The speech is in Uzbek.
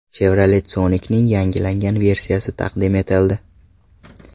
Chevrolet Sonic’ning yangilangan versiyasi taqdim etildi.